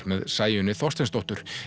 með Sæunni Þorsteinsdóttur